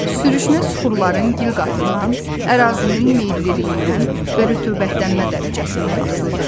Sürüşmə süxurların gil qatından, ərazinin meylliliyindən və rütubətlənmə dərəcəsindən asılıdır.